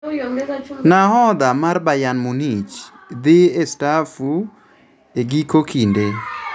Nahodha mar Bayern Munich dhii staafu e giko kinde.